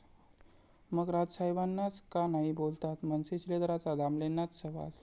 ...मग राज साहेबांनाच का नाही बोललात?, मनसे शिलेदाराचा दामलेंनाच सवाल